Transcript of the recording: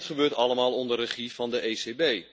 En dit gebeurt allemaal onder regie van de ECB.